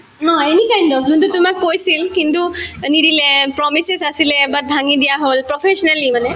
নহয়, any kind of যোনতো তোমাক কৈছিল কিন্তু অ নিদিলে promises আছিলে but ভাঙি দিয়া হল professionally মানে